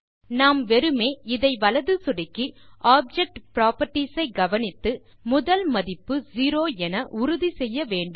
நாம் வெறுமே இதை வலது சொடுக்கி ஆப்ஜெக்ட் புராப்பர்ட்டீஸ் ஐ கவனித்து முதல் மதிப்பு zeroஎன உறுதி செய்ய வேண்டும்